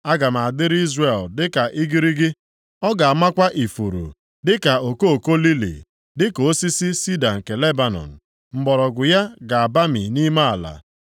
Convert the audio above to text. Aga m adịrị Izrel dịka igirigi. Ọ ga-amakwa ifuru dịka okoko lili. Dịka osisi sida nke Lebanọn, mgbọrọgwụ ya ga-abami nʼime ala;